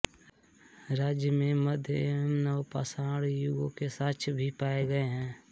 राज्य में मध्य एवं नव पाषाण युगों के साक्ष्य भी पाये गए हैं